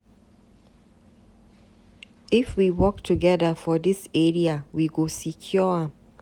If we work together for dis area, we go secure am.